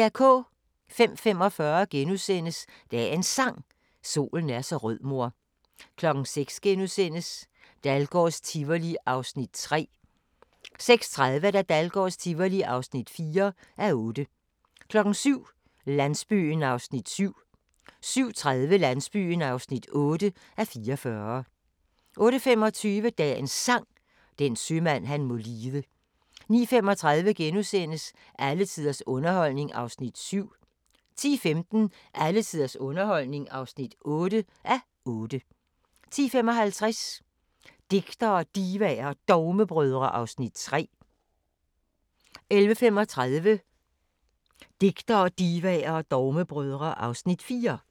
05:45: Dagens Sang: Solen er så rød mor * 06:00: Dahlgårds Tivoli (3:8)* 06:30: Dahlgårds Tivoli (4:8) 07:00: Landsbyen (7:44) 07:30: Landsbyen (8:44) 08:25: Dagens Sang: Den sømand han må lide 09:35: Alle tiders underholdning (7:8)* 10:15: Alle tiders underholdning (8:8) 10:55: Digtere, Divaer og Dogmebrødre (Afs. 3) 11:35: Digtere, Divaer og Dogmebrødre (Afs. 4)